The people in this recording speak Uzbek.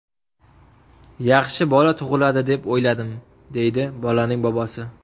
Yaxshi bola tug‘iladi deb o‘yladim”, deydi bolaning bobosi.